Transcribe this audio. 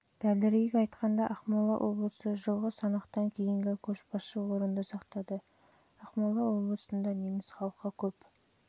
дәлірек айтқанда ақмола облысы жылғы санақтан кейінгі көшбасшы орынды сақтады жылы ақмола облысында неміс халқы көп